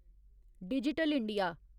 digital India